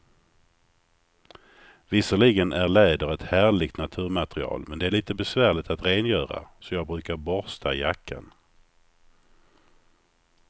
Visserligen är läder ett härligt naturmaterial, men det är lite besvärligt att rengöra, så jag brukar borsta jackan.